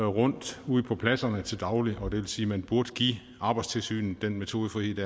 rundt ude på pladserne til daglig og det vil sige at man burde give arbejdstilsynet metodefrihed